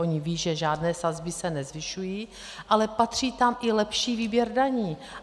Oni vědí, že žádné sazby se nezvyšují, ale patří tam i lepší výběr daní.